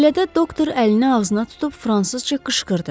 Belə də doktor əlini ağzına tutub fransızca qışqırdı.